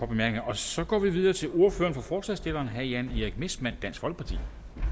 bemærkninger og så går vi videre til ordføreren for forslagsstillerne herre jan erik messmann dansk folkeparti